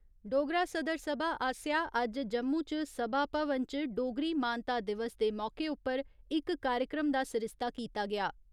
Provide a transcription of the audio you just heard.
डोगरा सदर सभा आसेआ अज्ज जम्मू च सभा भवन च, डोगरी मानता दिवस दे मौके उप्पर इक कार्यक्रम दा सरिस्ता कीता गेआ।